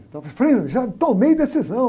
Então, frei, eu já tomei decisão.